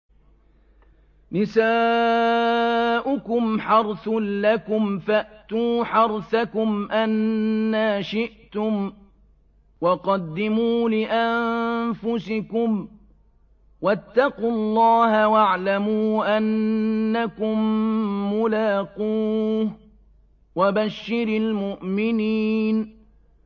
نِسَاؤُكُمْ حَرْثٌ لَّكُمْ فَأْتُوا حَرْثَكُمْ أَنَّىٰ شِئْتُمْ ۖ وَقَدِّمُوا لِأَنفُسِكُمْ ۚ وَاتَّقُوا اللَّهَ وَاعْلَمُوا أَنَّكُم مُّلَاقُوهُ ۗ وَبَشِّرِ الْمُؤْمِنِينَ